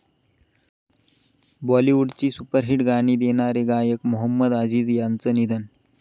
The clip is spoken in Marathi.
बाॅलिवूडची सुपरहिट गाणी देणारे गायक मोहम्मद अजीज यांचं निधन